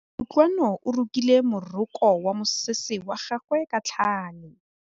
Kutlwanô o rokile morokô wa mosese wa gagwe ka tlhale.